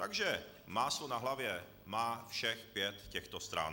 Takže máslo na hlavě má všech pět těchto stran.